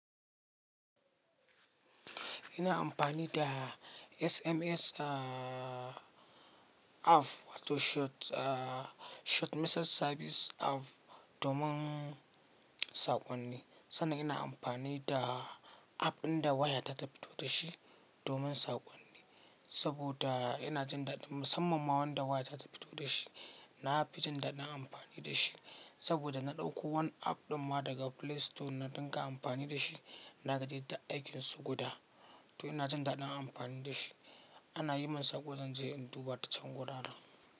Ina amfani da SMS app wato Short Message Service app domin saƙonni, sannan ina amfani da app ɗin da waya ta tafi to da shi domin saƙonni. Saboda ina jin daɗin musamman ma wanda waya ta tafi to da shi. Na fi jin daɗin amfani da shi saboda na ɗauko wani app ɗin ma daga Play Store na dinga amfani da shi. Na gaji da aikinsu guda to ina jin daɗin amfani da shi. Ana yi min saƙo zan je in duba ta can guda.